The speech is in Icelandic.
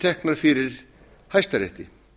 teknar fyrir hæstarétti